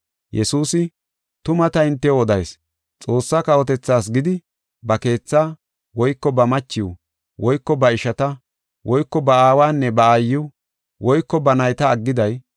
“Yesuusi tuma ta hintew odayis; Xoossaa kawotethaas gidi ba keethaa woyko ba machiw woyko ba ishata woyko ba aawanne ba aayiw woyko ba nayta aggiday;